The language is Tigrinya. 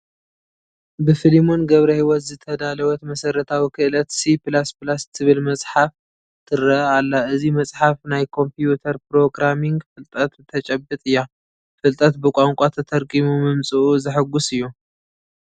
ብፍሊሞን ገብረሂወት ዝተዳለወት መሰረታዊ ክእለት C++ ትብል መፅሓፍ ትርአ ኣላ፡፡ እዚ መፅሓፍ ናይ ኮምፒዩተር ፕሮግራሚንግ ፍልጠት ተጭብጥ እያ፡፡ ፍልጠት ብቋንቋና ተተርጒሙ ምምፅኡ ዘሕጉስ እዩ፡፡